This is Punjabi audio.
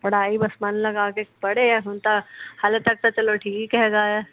ਪੜ੍ਹਾਈ ਬਸ ਮਨ ਲਗਾ ਕੇ ਪੜ੍ਹੇ ਹੁਣ ਤਾ ਹਲੇ ਤਕ ਤਾ ਚਲੋ ਠੀਕ ਹੇਗਾ ਆ।